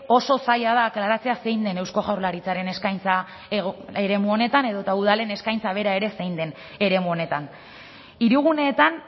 oso zaila da aklaratzea zein den eusko jaurlaritzaren eskaintza eremu honetan edota udalen eskaintza bera ere zein den eremu honetan hiriguneetan